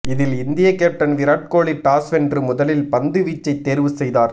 இதில் இந்திய captain Virat Kohli toss வென்று முதலில் பந்து வீச்சை தேர்வு செய்தார்